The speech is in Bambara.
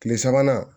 Kile sabanan